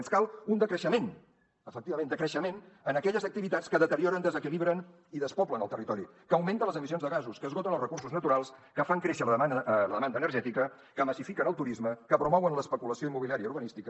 ens cal un decreixement efectivament decreixement en aquelles activitats que deterioren desequilibren i despoblen el territori que augmenten les emissions de gasos que esgoten els recursos naturals que fan créixer la demanda energètica que massifiquen el turisme que promouen l’especulació immobiliària i urbanística